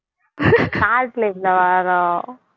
காட்டுல இருந்தா வரும்